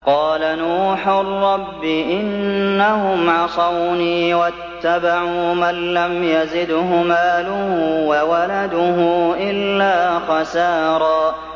قَالَ نُوحٌ رَّبِّ إِنَّهُمْ عَصَوْنِي وَاتَّبَعُوا مَن لَّمْ يَزِدْهُ مَالُهُ وَوَلَدُهُ إِلَّا خَسَارًا